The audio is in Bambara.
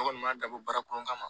Ne kɔni m'a dabɔ baara kɔnɔn kama ma